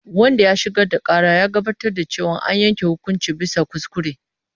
Wanda ya shigar da ƙara ya gabatar da cewa an yanke hukunci bisa kuskure.